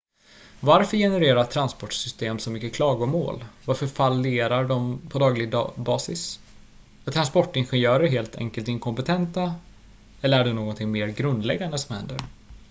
varför genererar transportsystem så mycket klagomål varför fallerar de på daglig basis är transportingenjörer helt enkelt inkompetenta eller är det någonting mer grundläggande som händer